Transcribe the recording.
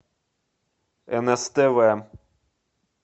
нс тв